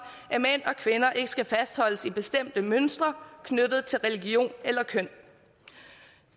at mænd og kvinder ikke skal fastholdes i bestemte mønstre knyttet til religion eller køn